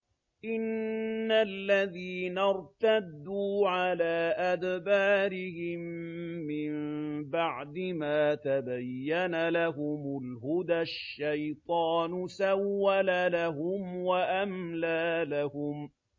إِنَّ الَّذِينَ ارْتَدُّوا عَلَىٰ أَدْبَارِهِم مِّن بَعْدِ مَا تَبَيَّنَ لَهُمُ الْهُدَى ۙ الشَّيْطَانُ سَوَّلَ لَهُمْ وَأَمْلَىٰ لَهُمْ